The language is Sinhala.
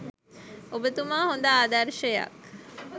ඔබතුමා හොද ආදර්ශයක්.